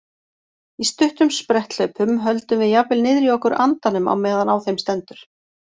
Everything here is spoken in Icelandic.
Í stuttum spretthlaupum höldum við jafnvel niðri í okkur andanum á meðan á þeim stendur.